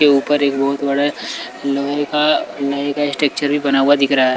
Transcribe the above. के ऊपर एक बहोत बड़ा लोहे का अ का स्ट्रक्चर भी बना हुआ दिख रहा है।